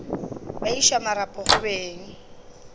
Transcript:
ba iša marapo go beng